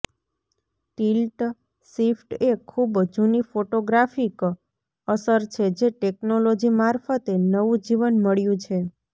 tilt shift એ ખૂબ જૂની ફોટોગ્રાફિક અસર છે જે ટેક્નોલોજી મારફતે નવું જીવન મળ્યું છે